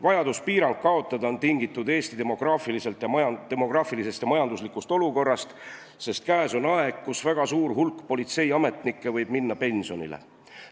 Vajadus piirang kaotada on tingitud Eesti demograafilisest ja majanduslikust olukorrast, sest käes on aeg, kus väga suur hulk politseiametnikke võib minna pensionile.